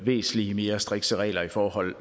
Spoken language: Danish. væsentlig mere strikse regler i forhold